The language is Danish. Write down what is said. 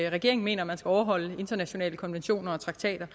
regeringen mener at man skal overholde internationale konventioner og traktater